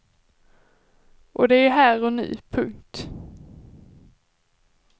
Och det är här och nu. punkt